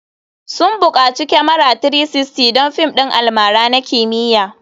Sun bukaci kyamara 360 don fim ɗin almara na kimiyya.